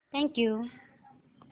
thank you